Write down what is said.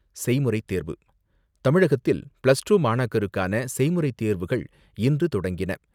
செய்முறை தேர்வு தமிழகத்தில், பிளஸ்டூ மாணாக்கருக்கான செய்முறை தேர்வுகள் இன்று